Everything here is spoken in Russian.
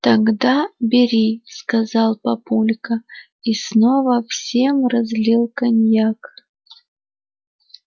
тогда бери сказал папулька и снова всем разлил коньяк